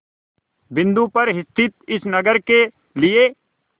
बिंदु पर स्थित इस नगर के लिए